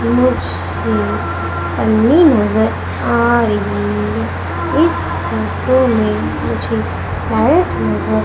मुझे पन्नी नजर आ रही है इस फोटो में मुझे वायर नजर--